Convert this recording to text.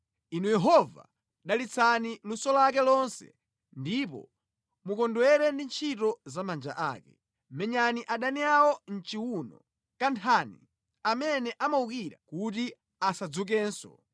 Inu Yehova, dalitsani luso lake lonse ndipo mukondwere ndi ntchito za manja ake. Menyani adani awo mʼchiwuno kanthani amene amuwukira kuti asadzukenso.”